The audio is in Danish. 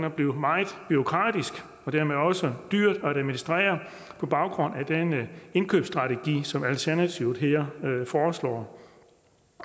og blive meget bureaukratisk og dermed også dyrt at administrere på baggrund af den indkøbsstrategi som alternativet her foreslår